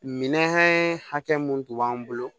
Minɛn hakɛ mun tun b'an bolo